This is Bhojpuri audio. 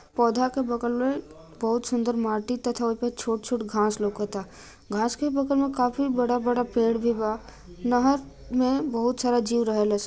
पौधा के बगल में बहुत सूंदर माटी तथा छोट- छोट घास लउकता घास के बगल में काफी बड़ा-बड़ा पेड़ भी बा नहर में बहुत सारा जिव रहलेस।